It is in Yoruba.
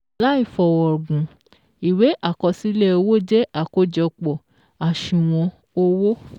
Làì fọ̀rọ̀gùn, ìwé àkọsílẹ̀ owó jẹ́ àkójọpọ̀.àṣùwọ̀n owó